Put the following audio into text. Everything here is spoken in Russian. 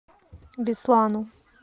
беслану